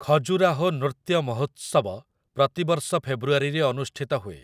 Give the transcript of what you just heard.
ଖଜୁରାହୋ ନୃତ୍ୟ ମହୋତ୍ସବ ପ୍ରତିବର୍ଷ ଫେବୃଆରୀରେ ଅନୁଷ୍ଠିତ ହୁଏ ।